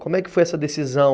Como é que foi essa decisão?